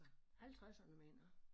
Halvtredserne mener jeg